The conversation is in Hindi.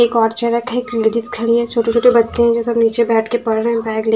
एक और चेयर रखे थे जिस खड़ी है छोटे छोटे बच्चे हैं जो सब नीचे बैठे के पढ़ रहे हैं बैग ले--